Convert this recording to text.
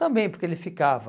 Também porque ele ficava...